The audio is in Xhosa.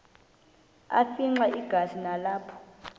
afimxa igazi nalapho